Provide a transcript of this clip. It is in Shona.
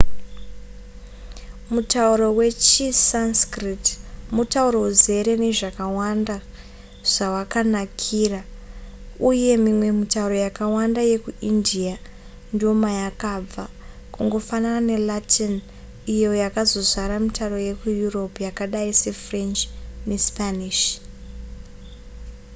mutauro wechisanskrit mutauro uzere nezvakawanda zvawakanakira uye mimwe mitauro yakawanda yekuindia ndomayakabva kungofanana nelatin iyo yakazozvara mitauro yekueurope yakadai sefrench nespanish